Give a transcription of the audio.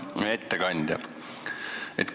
Hea ettekandja!